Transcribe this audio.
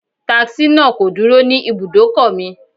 Taxi náà kò dúró ní ibùdókò mi.